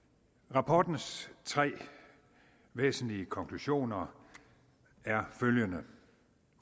rapportens tre væsentlige konklusioner er følgende